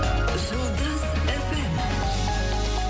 жұлдыз эф эм